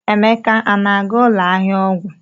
Emeka a na-aga ụlọ ahịa ọgwụ?